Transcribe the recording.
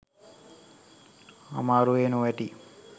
අමාරුවේ නොවැටී